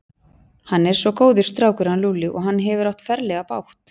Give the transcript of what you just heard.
Hann er svo góður strákur hann Lúlli og hann hefur átt ferlega bágt.